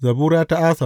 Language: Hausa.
Zabura ta Asaf.